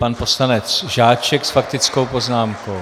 Pan poslanec Žáček s faktickou poznámkou.